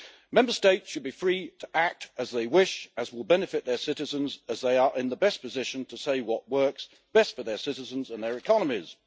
Member States should be free to act as they wish, as will benefit their citizens, as they are in the best position to say what works best for their citizens and their economies.